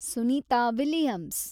Sunita Williams